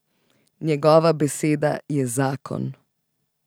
Njegova beseda je zakon.